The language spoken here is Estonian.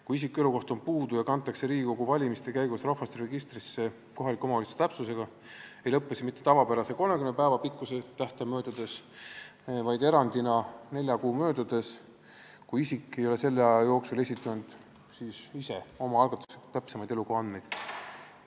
Kui isiku elukoht on puudu ja kantakse Riigikogu valimiste käigus rahvastikuregistrisse kohaliku omavalitsuse täpsusega, ei lõpe elukohaandmete kehtivus mitte tavapärase 30 päeva pikkuse tähtaja möödudes, vaid erandina nelja kuu möödudes, kui isik ei ole selle aja jooksul ise, omaalgatuslikult esitanud täpsemaid elukohaandmeid.